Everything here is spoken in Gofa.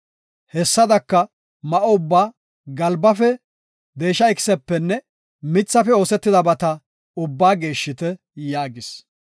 Hessadaka ma7o ubbaa, galbafe, deesha ikisepenne mithafe oosetidabata ubbaa geeshshite” yaagis.